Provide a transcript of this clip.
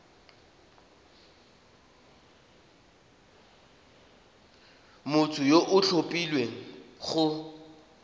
motho yo o tlhophilweng go